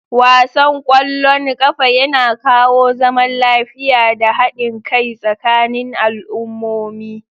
Wasan ƙwallon ƙafa yana kawo zaman lafiya da haɗin kai tsakanin al'ummomi.